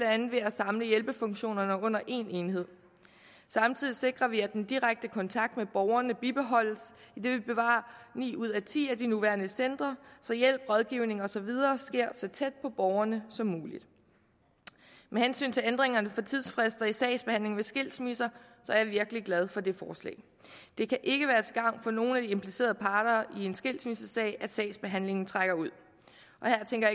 andet ved at samle hjælpefunktionerne under en enhed samtidig sikrer vi at den direkte kontakt med borgerne bibeholdes idet vi bevarer ni ud af ti af de nuværende centre så hjælp rådgivning og så videre sker så tæt på borgerne som muligt med hensyn til ændringen for tidsfrister i sagsbehandlingen ved skilsmisser er jeg virkelig glad for det forslag det kan ikke være til gavn for nogen af de implicerede parter i en skilsmissesag at sagsbehandlingen trækker ud her tænker